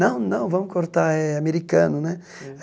Não, não, vamos cortar, é americano né.